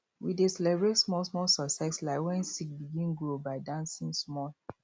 we dey celebrate smallsmall success like when seed begin grow by dancing small